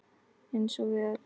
Eins og við öll.